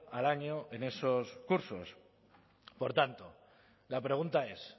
al año en esos cursos por tanto la pregunta es